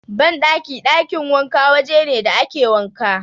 Banɗaki/ɗakin wanka waje ne da ake wanka.